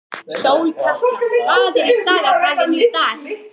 Sólkatla, hvað er í dagatalinu í dag?